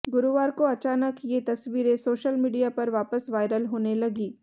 गुरुवार को अचानक ये तस्वीरें सोशल मीडिया पर वापस वायरल होने लगीं